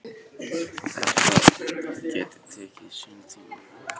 Að þetta geti tekið sinn tíma.